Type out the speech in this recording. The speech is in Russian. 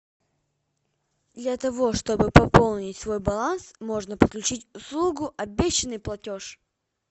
для того чтобы пополнить свой баланс можно подключить услугу обещанный платеж